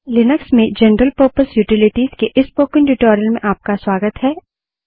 Linux में general purpose utilities के इस स्पोकन ट्यूटोरियल में आपका स्वागत है